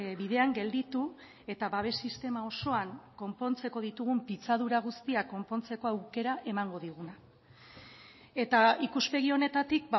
bidean gelditu eta babes sistema osoan konpontzeko ditugun pitzadura guztiak konpontzeko aukera emango diguna eta ikuspegi honetatik